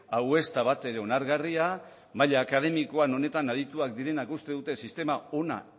hau ez da batere onargarria maila akademikoan honetan adituak direnak uste dute sistema ona